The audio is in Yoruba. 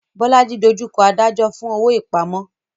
Bolaji dojú kọ adájọ́ fún owó ìpamọ́.